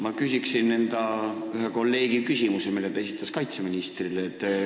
Ma küsin ühe enda kolleegi küsimuse, mille ta esitas kaitseministrile.